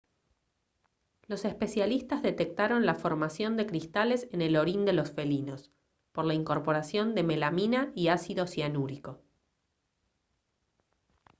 los especialistas detectaron la formación de cristales en el orín de los felinos por la incorporación de melamina y ácido cianúrico